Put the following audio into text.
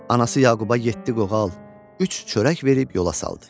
Anası Yaquba yeddi qoğal, üç çörək verib yola saldı.